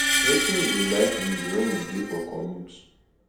wetin you dey like read when you dey for commute